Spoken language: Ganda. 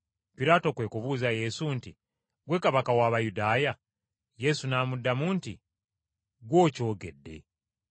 Piraato kwe kubuuza Yesu nti, “Ggwe kabaka w’Abayudaaya?” Yesu n’amuddamu nti, “Ggwe okyogedde.”